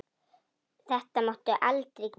Þetta máttu aldrei gera aftur!